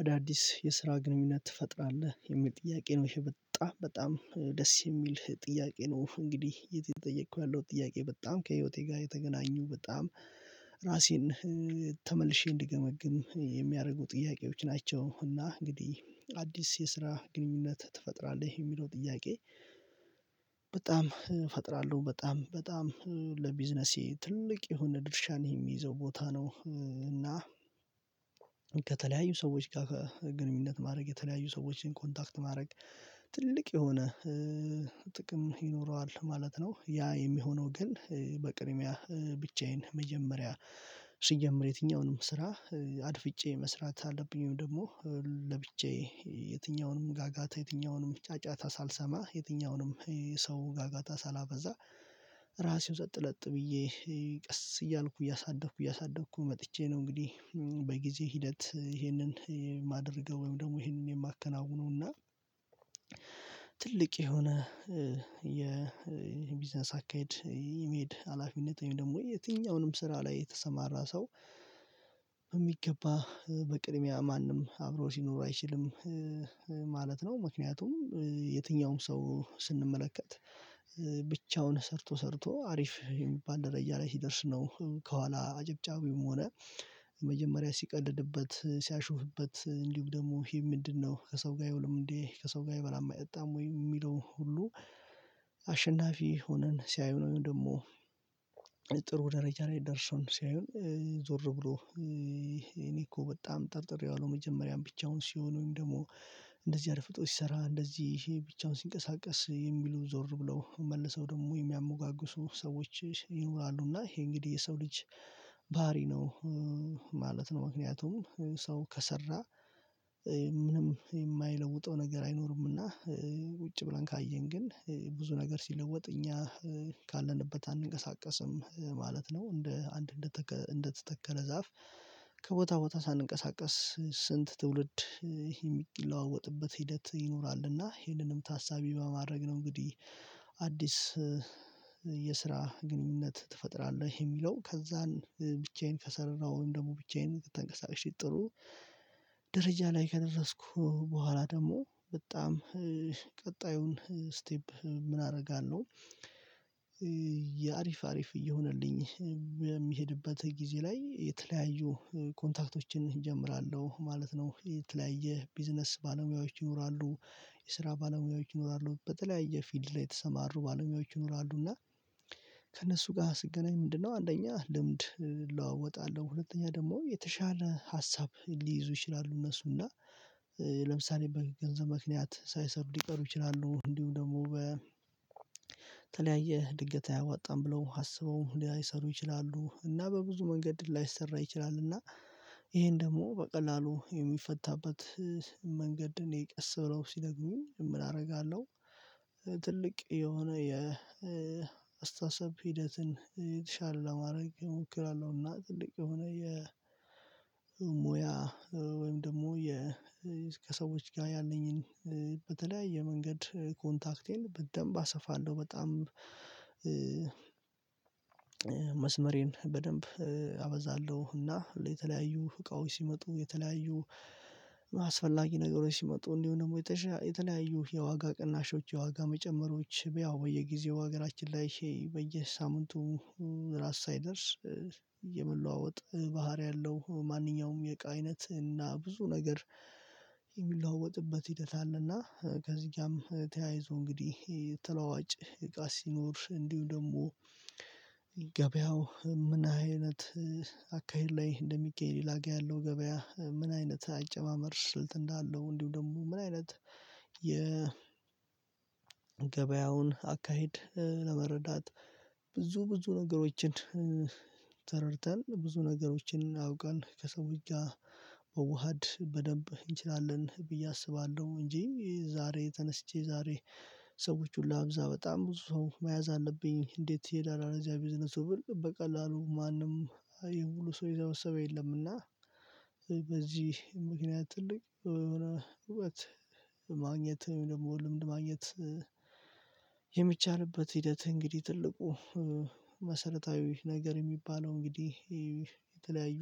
አዳዲስ የስራ ግንኙነት ትፈጥራለህ የሚል ጥያቄ ነው ይሄ በጣም በጣም ደስ የሚል ጥያቄ ነው እንግዲህ እየትጠየኩ ያለው ጥያቄ በጣም ከህይወቴ ጋር የተገናኙ በጣም ራሴን ተመልሼ እንድገመግም የሚያደርጉ ጥያቄዎች ናቸው። እና እንግዲህ አዲስ የስራ ግንኙነት ትፈጥራለህ የሚለው ጥያቄ በጣም እፈጥራለሁ በጣም በጣም ለቢዝነሴ ትልቅ የሆነ ድርሻ ነው የሚይዘው ቦታ ነው። እና ከተለያዩ ሰዎች ጋር ግንኙነት ማድረግ የተለያዩ ሰዎችን ኮንታክት ማድረግ ትልቅ የሆነ ጥቅም ይኖረዋል ማለት ነው። ያ የሚሆነው ግን በቅድሚያ ብቻዬን መጀመሪያ ሲጀምር የትኛውንም ስራ አድፍጬ መስራት አለብኝም ደግሞ ለብቻዬ የትኛውንም ጋጋታ የትኛውንም ጫጫታ ሳልሰማ የትኛውንም ሰው ጋጋታ ሳላበዛ ራሴን ጸጥለጥ ብዬ ቀስ እያልኩ እያሳደኩ እያሳደኩ መጥቼ ነው። እንግዲህ በጊዜ ሂደት ይሄንን የማደርገው ወይም ደግሞ ይሄንን የማከናውነው ትልቅ የሆነ የቢዝነስ አካሄድ የሚሄድ ሀላፊነት ወይም ደግሞ የትኛውንም ስራ ላይ የተሰማራ ሰው በሚገባ በቅድሚያ ማንም አብረው ሲኖሩ አይችልም ማለት ነው። ምክንያቱም የትኛውም ሰው ስንመለከት ብቻውን ሰርቶ ሰርቶ አሪፍ የሚባል ደረጃ ላይ ሲደርስ ነው ከኋላ አጭብጫቢውም ሆነ የመጀመሪያ ሲቀልድበት ሲያሹፍበት እንዲሁም ደግሞ ይሄ ምንድነው? ከሰው ጋር አይውልም እንዴ ከሰው ጋር አይበላማ አይጠጣም ወይ የሚለውን ሁሉ አሸናፊ ሆነን ሲያዩ ወይም ደግሞ ጥሩ ደረጃ ላይ ደርሰውን ሲያዩ ዞር ብሎ እኔ እኮ በጣም ጠርጥሬዋለሁ። መጀመሪያ ብቻውን ሲሆን ወይም ደግሞ እንደዚህ አድፍጦ ሲሰራ እንደዚህ ይሄ ብቻውን ሲንቀሳቀስ የሚሉ ዞር ብለው መልሰው ደግሞ የሚያሞጋግሱ ሰዎች ይኖራሉና ይሄ እንግዲህ የሰው ልጅ ባህሪ ነው ማለት ነው። ምክንያቱም ሰው ከሰራ ምንም የማይለውጠው ነገር አይኖርምና ቁጭ ብለን ካየን ግን ብዙ ነገር ሲለወጥ እኛ ካለንበት አንንቀሳቀስም ማለት ነው። እንደ አንድ እንደተተከለ ዛፍ ከቦታ ቦታ ሳንቀሳቀስ ስንት ትውልድ የሚለዋወጥበት ይሄንንም ታሳቢ በማድረግ ነው። እንግዲህ አዲስ የስራ ግንኙነት ትፈጥራለህ? የሚለው ከዛን ብቻዬን ከሰራሁኝ ደግሞ ብቻዬን ተንቀሳቅሼ ጥሩ ደረጃ ላይ ከደረስኩ በኋላ ደግሞ በጣም ቀጣዩን ስቴፕ ምን አደርጋለሁ? የአሪፍ አሪፍ እየሆነልኝ በሚሄድበት ጊዜ ላይ የተለያዩ ኮንታክቶችን እጀምራለሁ ማለት ነው። የተለያየ ቢዝነስ ባለሙያዎች ይኖራሉ የስራ ባለሙያዎች ይኖራሉ በተለያየ ፊልድ ላይ የተሰማሩ ባለሙያዎች ይኖራሉ። እና ከእነሱ ጋር ስገናኝ ምንድነው አንደኛ ልምድ እለዋወጣለሁ ሁለተኛ ደግሞ የተሻለ ሀሳብ ሊይዙ ይችላሉ። እነሱና ለምሳሌ በገንዘብ ምክንያት ሳይሰሩ ሊቀሩ ይችላሉ እንዲሁ ደግሞ በተለያየ ድንገት አያዋጣም ብለው አስበው ሊይሰሩ ይችላሉ። እና በብዙ መንገድ ሊያይሰራ ይችላል እና ይሄን ደግሞ በቀላሉ የሚፈታበት መንገድን የቀስ ብለው ሲነግሩኝ ምን አደርጋለሁ? ትልቅ የሆነ የአስተሳሰብ ሂደትን የተሻለ ለማድረግ እሞክራለሁና። ትልቅ የሆነ የሙያ ወይም ደግሞ የ ከሰዎች ጋር ያለኝን በተለያየ መንገድ ኮንታክቴን በደንብ አሰፋለሁ በጣም መስመሬን በደንብ አበዛለሁ። እና ለተለያዩ እቃዎች ሲመጡ የተለያዩ አስፈላጊ ነገሮች ሲመጡ እንዲሁ ደግሞ የተለያዩ የዋጋ ቅናሾች የዋጋ መጨመሮች ያው በየጊዜው ሀገራችን ላይ በየሳምንቱ ራስ ሳይደርስ የመለዋወጥ ባህሪ አለው ማንኛውም የእቃ አይነት እና ብዙ ነገር የሚለዋወጥበት ሂደት አለና። ከዚህ ጋም ተያይዞ እንግዲህ ተለዋጭ እቃ ሲኖር እንዲሁ ደግሞ ገበያው ምና አይነት አካሄድ ላይ እንደሚገኝ ሌላጋ ያለው ገበያ ምን አይነት አጨማመር ስልት እንዳለው እንዲሁ ደግሞ ምን አይነት የ ገበያውን አካሄድ ለመረዳት ብዙ ብዙ ነገሮችን ተረድተን ብዙ ነገሮችን አውቀን ከሰዎች ጋር መዋሃድ በደንብ እንችላለን። ብዬ አስባለሁ እንጂ ዛሬ ተነስቼ ዛሬ ሰዎች ሁሉ ላብዛ በጣም ብዙ ሰው መያዝ አለብኝ እንዴት ይሄዳል እዚያ ቢዝነሱ ብል በቀላሉ ማንም ይሄ ሁሉ ሰው የሰበሰበ የለም። እና በዚህ ምክንያት ትልቅ የሆነ እውቀት ማግኘት ደግሞ ልምድ ማግኘት የሚቻልበት ሂደት እንግዲህ ትልቁ መሰረታዊ ነገር የሚባለው እንግዲህ የተለያዩ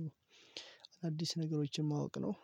አዳዲስ ነገሮችን ማወቅ ነው።